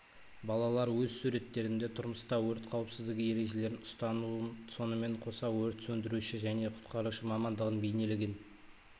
балалар өз суреттерінде тұрмыста өрт қауіпсіздігі ережелерін ұстануын сонымен қоса өрт сөндіруші және құтқарушы мамандығын бейнелеген